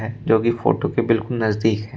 जोकि फोटो के बिल्कुल नजदीक है।